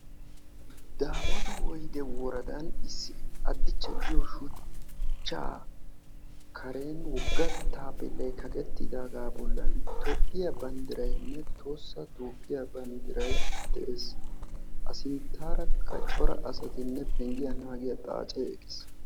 Daamoota Woydde Woradan issi Attichca giyo shuchcha karen wogga taappelay kaqqettidaaga bollan Toophiyaa banddiraynne Tohossaa Toophiyaa banddiray de'ees; A sinttarakka cora asaynne he pnggiyaa naagiyaa xaacce de'ees.